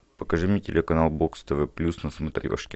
покажи мне телеканал бокс тв плюс на смотрешке